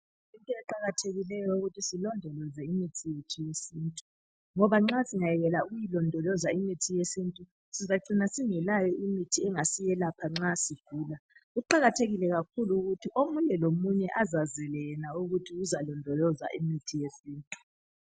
Kuyinto eqakathekileyo ukuthi silondoloze imithi yethu yesintu ngoba nxa singayekela ukulondoloza imithi yesintu sizacina singelayo imithi engasiyelapha nxa sigula. Kuqakathekile kakhulu ukuthi omunye lomunye azazele yena ukuthi uzalondoloza imithi yesintu.